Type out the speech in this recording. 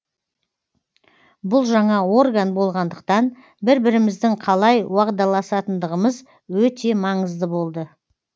бұл жаңа орган болғандықтан бір біріміздің қалай уағдаласатындығымыз өте маңызды болды